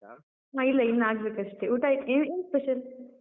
ಹ ಇಲ್ಲ, ಇನ್ನೂ ಆಗ್ಬೇಕಷ್ಟೇ. ಊಟಾಯ್ತು, ಏನ್ special ?